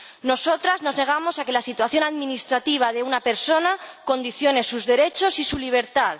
Nosotras nos negamos a que la situación administrativa de una persona condicione sus derechos y su libertad.